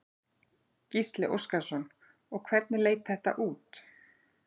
Gísli Óskarsson: Og hvernig leit þetta út?